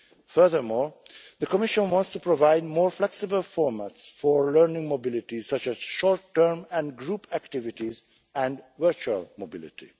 Furthermore, the Commission wants to provide more flexible formats for learning mobility, such as short term and group activities and virtual mobility.